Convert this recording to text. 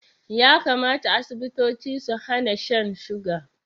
Ya kamata Asibitoci su hana shan suga